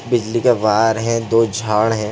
बिजली का वायर है दो झाड है।